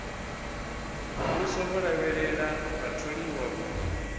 muvhuso vho lavhelela vhatholiwa u